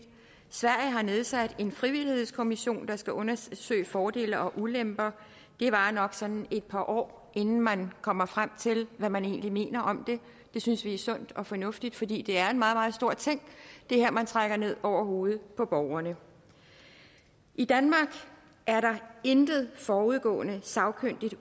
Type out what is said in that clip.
sverige har nedsat en frivillighedskommission der skal undersøge fordele og ulemper det varer nok sådan et par år inden man kommer frem til hvad man egentlig mener om det det synes vi er sundt og fornuftigt fordi det her er en meget meget stort ting man trækker ned over hovedet på borgerne i danmark er der intet forudgående sagkyndigt